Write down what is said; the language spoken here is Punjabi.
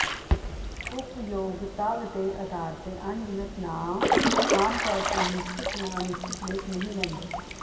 ਉਪਯੋਗਤਾ ਦੇ ਅਧਾਰ ਤੇ ਅਣਗਿਣਤ ਨਾਂਵ ਆਮ ਤੌਰ ਤੇ ਨਿਸ਼ਚਿਤ ਜਾਂ ਅਨਿਸ਼ਚਿਤ ਲੇਖ ਨਹੀਂ ਲੈਂਦੇ